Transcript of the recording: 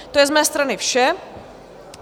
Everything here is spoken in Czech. To je z mé strany vše.